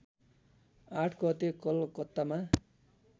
८ गते कलकत्तामा